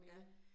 Ja